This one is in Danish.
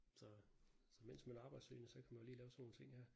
Så så mens man er arbejdssøgende så kan man jo lige lave sådan nogle ting her